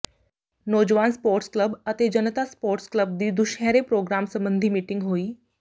ਨੌਜਵਾਨ sports club ਅਤੇ ਜਨਤਾ ਸਪੋਰਟਸ ਕਲੱਬ ਦੀ ਦੁਸ਼ਹਿਰੇ ਪ੍ਰਰੋਗਰਾਮ ਸਬੰਧੀ ਮੀਟਿੰਗ ਹੋਈ